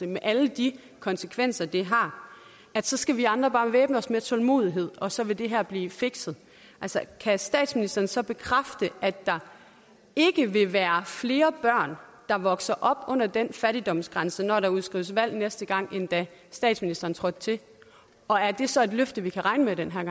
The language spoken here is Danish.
med alle de konsekvenser det har så skal vi andre altså bare væbne os med tålmodighed og så vil det her blive fikset altså kan statsministeren så bekræfte at der ikke vil være flere børn der vokser op under den fattigdomsgrænse når der udskrives valg næste gang end da statsministeren trådte til og er det så et løfte vi kan regne med den her